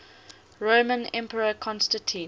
roman emperor constantine